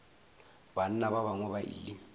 banna ba bangwe ba ile